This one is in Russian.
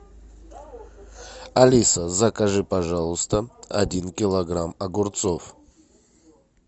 алиса закажи пожалуйста один килограмм огурцов